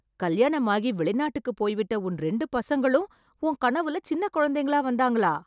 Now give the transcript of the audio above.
கல்யாணமாகி வெளிநாட்டுக்கு போய்விட்ட உன் ரெண்டு பசங்களும், உன் கனவுல சின்னக் குழந்தைங்களா வந்தாங்களா...